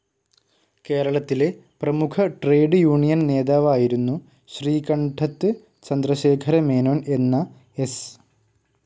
കേരളത്തിലെ പ്രമുഖ trade union നേതാവായിരുന്നു ശ്രീകണ്ഡത് ചന്ദ്രശേഖര മേനോൻ എന്ന എസ്.